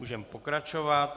Můžeme pokračovat.